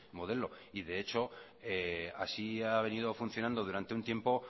modelo y de hecho así ha venido funcionando durante un tiempo